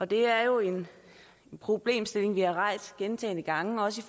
det er jo en problemstilling vi har rejst gentagne gange også